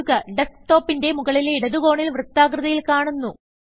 ഇതു ഡെസ്ക്ടോപിന്റെ മുകളിലെ ഇടതു കോണിൽ വൃത്താകൃതിയിൽ കാണുന്നു